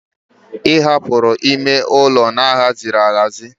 Ị hapụrụ ime ụlọ na-aghazighi ya aghazi